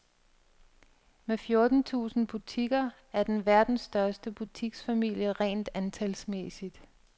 Med fjorten tusind butikker er den verdens største butiksfamilie rent antalsmæssigt.